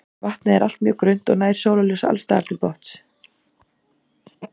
Vatnið er allt mjög grunnt og nær sólarljós alls staðar til botns.